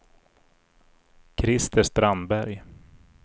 Christer Strandberg